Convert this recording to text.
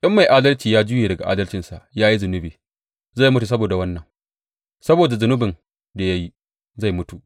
In mai adalci ya juye daga adalcinsa ya yi zunubi, zai mutu saboda wannan; saboda zunubin da ya yi, zai mutu.